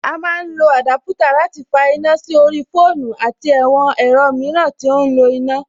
A má ń lọ àdúpútà láti fa iná sí orí fóònù àti àwọn ẹ̀rọ mìíràn tí ó ń lo iná.